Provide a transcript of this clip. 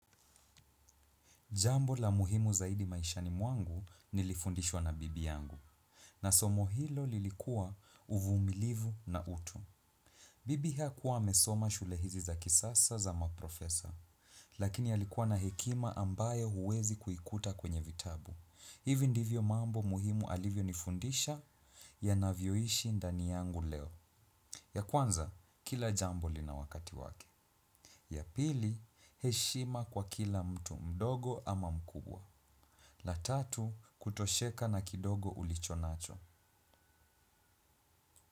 Jambo la muhimu zaidi maishani mwangu nilifundishwa na bibi yangu. Na somo hilo lilikuwa uvumilivu na utu. Bibi hakuwa amesoma shule hizi za kisasa za maprofesa. Lakini alikuwa na hekima ambayo huwezi kuikuta kwenye vitabu. Hivi ndivyo mambo muhimu alivyonifundisha yanavyoishi ndani yangu leo. Ya kwanza, kila jambo lina wakati wake. Ya pili, heshima kwa kila mtu mdogo ama mkubwa. La tatu kutosheka na kidogo ulichonacho.